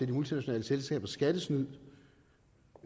de multinationale selskabers skattesnyd